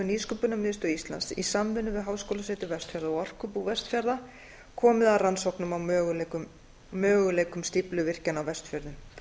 nýsköpunarmiðstöð íslands í samvinnu við háskólasetur vestfjarða og orkubú vestfjarða komið að rannsóknum á möguleikum stífluvirkjana á vestfjörðum